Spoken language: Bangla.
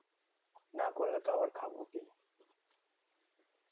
না করলে তো আবার খাবো কি